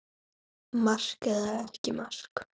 Mark eða ekki mark?